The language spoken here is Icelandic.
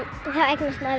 að